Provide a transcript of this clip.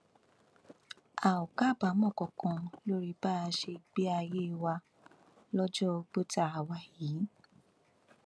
a ò kábàámọ kankan lórí bá a ṣe gbé ayé wa lọjọ ogbó tá a wà yìí